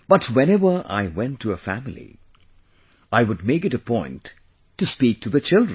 But whenever I went to a family, I would make it a point to speak to the children